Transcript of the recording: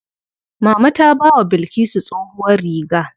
Mama ta bawa Bilkisu tsohuwar riga.